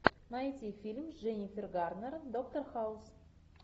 найти фильм с дженнифер гарнер доктор хаус